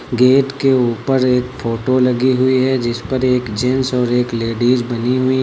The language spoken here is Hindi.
गेट के ऊपर एक फोटो लगी हुई है जिस पर एक जेंट्स और एक लेडिस बनी हुई--